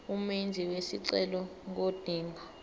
umenzi wesicelo ngodinga